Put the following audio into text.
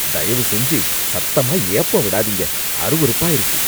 தயவு செஞ்சு சத்தமா ஏப்பம் விடாதீங்க, அருவெறுப்பா இருக்கு.